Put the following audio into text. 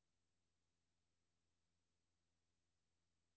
Hun havde to ønsker, da hun kom til teatret.